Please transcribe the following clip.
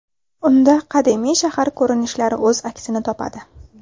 Unda qadimiy shahar ko‘rinishlari o‘z aksini topadi.